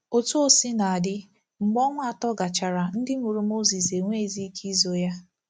Otú o sina dị, mgbe ọnwa atọ gachara, ndị mụrụ Mozis enweghizi ike izo ya.